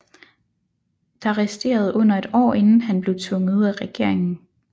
Der resterede under et år inden han blev tvunget ud af regeringen